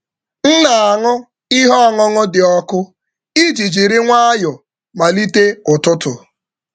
M na-aṅụ ihe ọṅụṅụ dị ọkụ iji jiri nwayọọ malite ụtụtụ. um